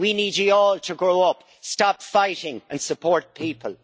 We need you all to grow up, stop fighting and support people.